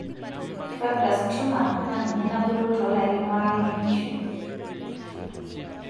fibrous tumor na ninye nabulu tolarin ware lenkishui.